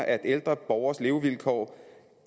at ældre borgeres levevilkår